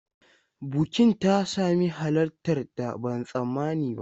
Bukin ta sami halartar da ban tsammani ba.